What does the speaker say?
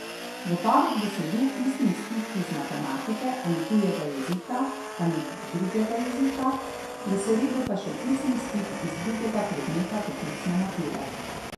V torek bo sledil pisni izpit iz matematike ali tujega jezika ali drugega jezika, v sredo pa še pisni izpit iz drugega predmeta poklicne mature.